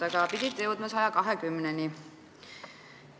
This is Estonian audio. Aga pidite jõudma 120%-ni.